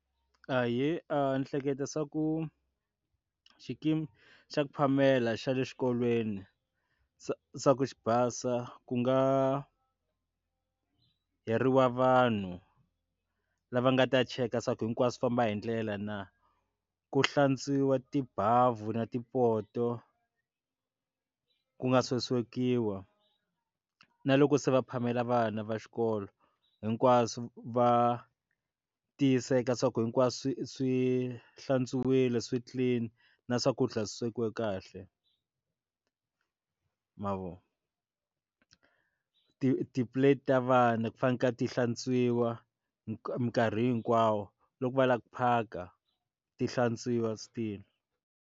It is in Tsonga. Ahee, ni hleketa swa ku xikimi xa ku phamela xa le xikolweni xa ku xi basa ku nga hayariwa vanhu lava nga ta cheka ku swilo hinkwaswo swi famba hindlela na, ku hlantswiwa tibavu na tipoto ku nga swo swekiwa na loko se va phamela vana va xikolo hinkwaswo va tiyiseka swa ku hinkwaswo swi swi hlantswiwile swi clean na swakudya Swi swekiwe kahle mavona ti ti-plate ta vana ku fana na ka ti hlantswiwa nkarhi mikarhi hinkwawo loko va lava ku phaka ti hlantswiwa still.